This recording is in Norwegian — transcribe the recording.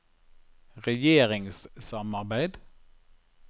regjeringssamarbeid